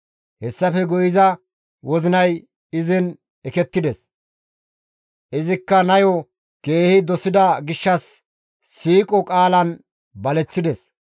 Hessafe guye iza wozinay izin ekettides; izikka nayo keehi dosida gishshas siiqo qaalan baleththides.